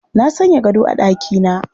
Na sanya gado a ɗakina